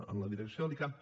en la direcció de l’icam